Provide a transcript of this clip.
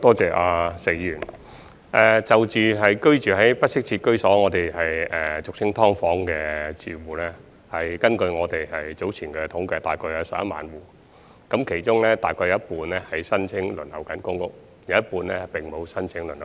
就居住在不適切居所，即俗稱"劏房"的住戶，根據我們早前的統計約有3萬戶，其中約有一半正申請輪候公屋，另有一半並沒有申請輪候公屋。